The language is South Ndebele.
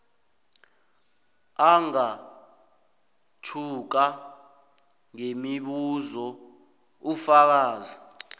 angamtjhuka ngemibuzo ufakazi